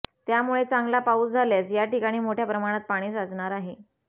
त्यामुळे चांगला पाऊस झाल्यास या ठिकाणी मोठ्या प्रमाणात पाणी साचणार आहे